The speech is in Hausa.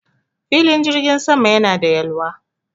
Filin jirgin sama yana da yalwa